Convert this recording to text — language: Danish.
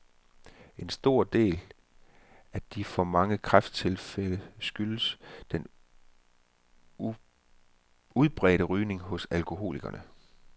En stor del af de for mange kræfttilfælde skyldes den udbredte rygning hos alkoholikerne.